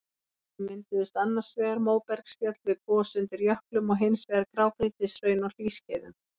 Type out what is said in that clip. Þá mynduðust annars vegar móbergsfjöll við gos undir jöklum og hins vegar grágrýtishraun á hlýskeiðum.